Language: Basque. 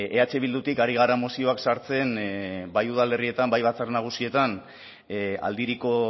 eh bildutik ari gara mozioak sartzen bai udalerrietan bai batzar nagusietan aldiriko